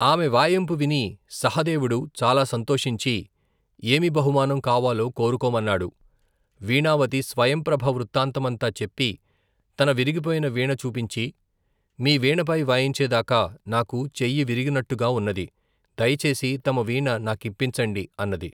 ఆమె వాయింపు విని సహదేవుడు చాలా సంతోషించి ఏమి బహుమానం కావాలో కోరుకోమన్నాడు, వీణావతి స్వయంప్రభ వృత్తాంతమంతా చెప్పి తన విరిగిపోయిన వీణ చూపించి మీ వీణపై వాయించేదాక నాకు చెయ్యివిరిగినట్టుగా ఉన్నది, దయచేసి తమ వీణ నాకిప్పించండి అన్నది.